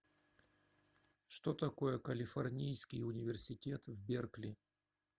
что такое калифорнийский университет в беркли